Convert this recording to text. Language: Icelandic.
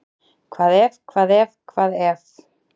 Hvað ef, hvað ef, hvað ef?